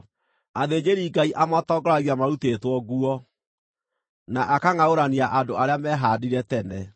Athĩnjĩri-Ngai amatongoragia marutĩtwo nguo, na akangʼaũrania andũ arĩa mehaandire tene.